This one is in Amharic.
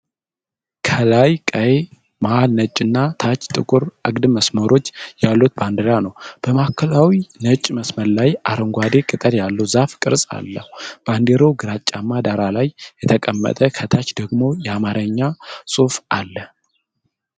ከላይ ቀይ፣ መሃል ነጭ እና ታች ጥቁር አግድም መስመሮች ያሉት ባንዲራ ነው። በማዕከላዊው ነጭ መስመር ላይ አረንጓዴ ቅጠል ያለው ዛፍ ቅርጽ አለው።። ባንዲራው ግራጫማ ዳራ ላይ የተቀመጠ ፣ ከታች ደግሞ የአማርኛ ጽሑፍ አለ።